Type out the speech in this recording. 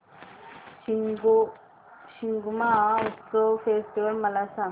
Shigmotsav festival मला सांग